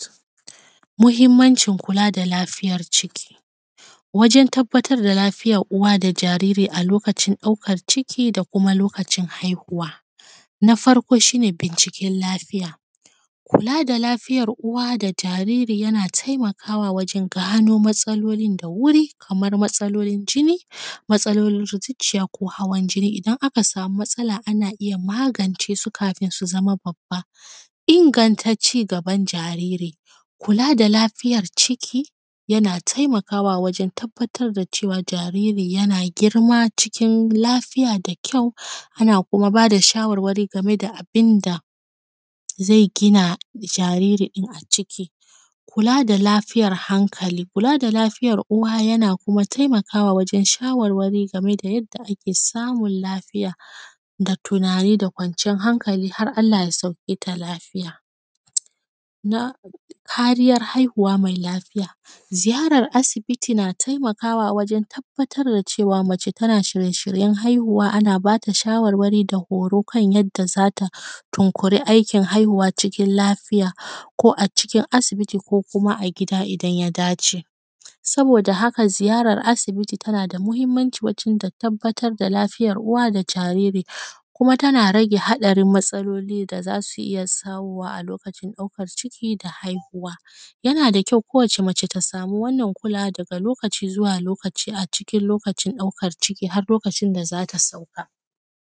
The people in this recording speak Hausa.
Muhimmancin kula da lafiyar ciki. Wajan tabbatar da lafiyar uwa da jariri a lokacin ɗaukar ciki da kuma lokacin haihuwa. Na farko shi ne binciken lafiya, kula da lafiyar da jariri yana taimakawa wajen gano matsalolin da wuri, kamar matsalolin jini, matsalolin zuciya ko hawan jini, idan aka samu matsala ana iya magance su kafin su zama babba. Inganta ci gaban jariri, kula da lafiyar ciki yana taimakawa wajen tabbatar da cewa jariri yana girma cikin lafıya da kyau, ana kuma bada shawarwari game da abinda zai gina jariri din a ciki. Kula da lafiyar hankali, kula da lafiyar uwa yana kuma taimakawa wajen shawarwari game da yadda ake samun lafiya da tunani da kwanciyar hankali har Allah ya sauketa lafiya. Kariyar haihuwa mai lafiya, ziyarar asibiti na taimakawa wajan tabbatar da cewa mace tana shirye shiryen haihuwa ana bata shawarwari da horo kan yadda zata tunkuri aikin haihuwa cikin lafiya ko a cikin asibiti ko kuma a gida idan ya dace. Saboda haka ziyarar asibiti tana da muhimmanci wajen ta tabbatar da lafiyar uwa da jariri kuma tana rage haɗarin matsaloli da za su iya sawuwa a lokacin ɗaukar ciki da haihuwa. Yana da kyau kowace mace ta samu wannan kula daga lokaci zuwa lokaci a cikin lokacin ɗaukar ciki har lokacin da zata sauka.